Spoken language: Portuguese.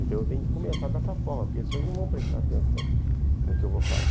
Então eu tenho que começar dessa forma, porque esses senhores não vão prestar atenção no que eu vou falar.